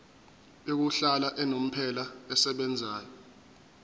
yokuhlala unomphela esebenzayo